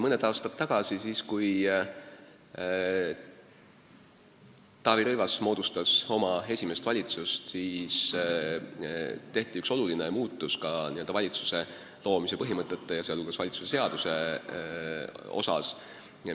Mõni aasta tagasi, siis kui Taavi Rõivas moodustas oma esimest valitsust, tehti üks oluline muudatus ka valitsuse loomise põhimõtete ja sh Vabariigi Valitsuse seaduse osas.